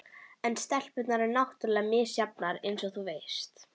En stelpurnar eru náttúrlega misjafnar eins og þú veist.